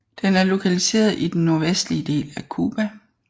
Den er lokaliseret i den nordvestlige del af Cuba